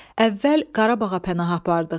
Əvvəl Qarabağa pənah apardıq.